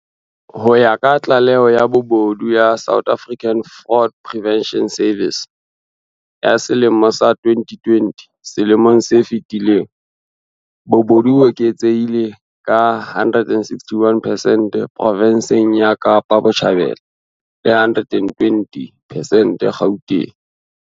Ho ya ka tlaleho ya bobodu ya South African Fraud Prevention Service ya selemo sa 2020, selemong se fetileng bobodu bo eketsehile ka 161 percent provinseng ya Kapa Botjhabela le 120 percent Gauteng.